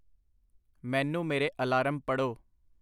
ਮੈਨੂੰ ਮੇਰੇ ਅਲਾਰਮ ਪੜ੍ਹੋ।